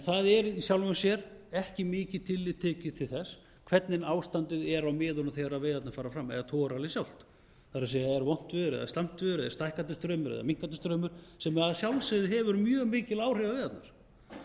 það er í sjálfan sér ekki mikið tillit tekið til þess hvernig ástandið er á miðunum þegar veiðarnar fara fram eða togararallið sjálft það er er vont veður eða slæmt veður eða stækkandi straumur eða minnkandi straumur sem að sjálfsögðu hefur mjög mikil áhrif á veiðarnar